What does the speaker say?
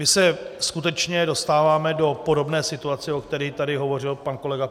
My se skutečně dostáváme do podobné situace, o které tady hovořil pan kolega